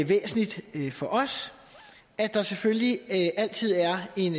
væsentligt for os at der selvfølgelig altid er en